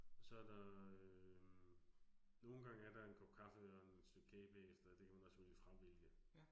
Og så der øh, nogle gange er der en kop kaffe og et stykke kage bagefter. Det kan man også vælge fravælge